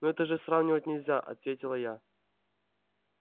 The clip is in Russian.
ну это же сравнивать нельзя ответила я